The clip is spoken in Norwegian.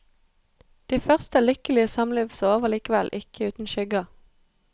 De første lykkelige samlivsår var likevel ikke uten skygger.